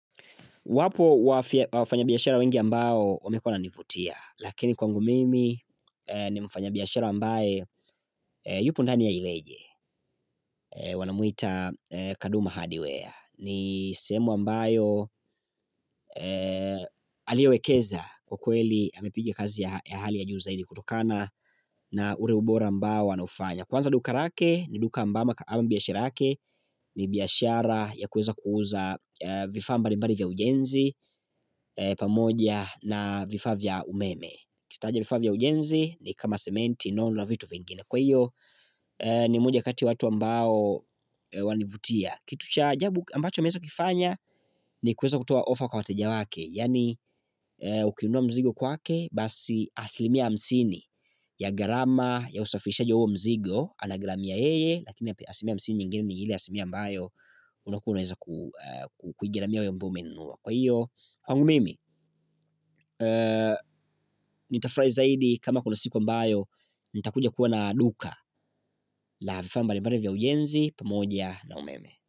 Wapo wafanya biashara wengi ambao wamekuwa wananivutia, lakini kwangu mimi ni mfanya biashara ambaye yupo ndani ya iweje, wanamuita kaduma hardware ni sehemu ambayo aliyowekeza kwa kweli amepigia kazi ya hali ya juu zaidi kutokana na ule ubora ambao anaufanya. Kwanza duka lake ni duka ambamo kama biashira yake ni biashara ya kuweza kuuza vifaa mbalimbali vya ujenzi pamoja na vifaa vya umeme Ukitaja vifaa vya ujenzi ni kama sementi non na vitu vingine kwa hivyo ni moja kati watu ambao wanivutia Kitu cha ajabu ambacho ameweza kifanya ni kuweza kutoa ofa kwa wateja wake Yaani ukinunua mzigo kwake basi asilimia hamsini ya gharama ya usafirishaji wa huo mzigo Anagharamia yeye lakini asilimia hamsini nyingine ni ile asilimia mbayo unakuwaunaweza kuigharamia wewe ambaye umeinunua kwa hivyo Kwangu mimi, nitafurahi zaidi kama kuna siku ambayo nitakuja kuwa na duka la vifaa mbali mbali vya ujenzi, pamoja na umeme.